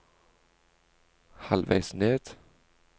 halvveis ned